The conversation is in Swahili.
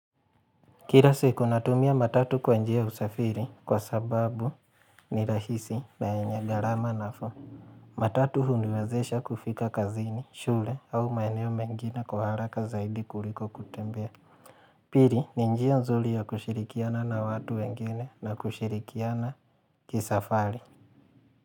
Kira siku natumia matatu kwanjia usafiri kwa sababu ni rahisi na enye garama nafuu. Matatu huniwezesha kufika kazini, shule au maeneo mengine kwa haraka zaidi kuliko kutembea. Piri ni njia nzuli ya kushirikiana na watu wengine na kushirikiana kisafari.